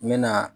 N mɛna